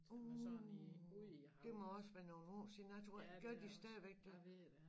Uh det må også være nogle år siden jeg tror gør de stadigvæk det